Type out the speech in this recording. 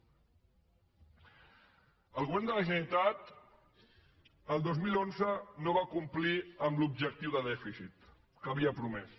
el govern de la generalitat el dos mil onze no va complir amb l’objectiu de dèficit que havia promès